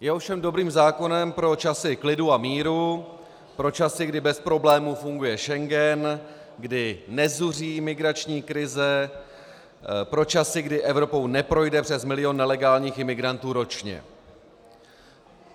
Je ovšem dobrým zákonem pro časy klidu a míru, pro časy, kdy bez problémů funguje Schengen, kdy nezuří migrační krize, pro časy, kdy Evropou neprojde přes milion nelegálních imigrantů ročně.